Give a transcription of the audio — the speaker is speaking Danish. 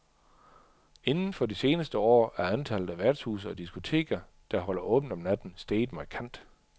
Inden for de seneste år er antallet af værtshuse og diskoteker, der holder åbent om natten, steget markant.